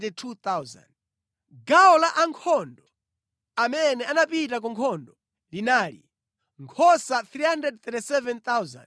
Gawo la ankhondo amene anapita ku nkhondo linali: nkhosa 337,500,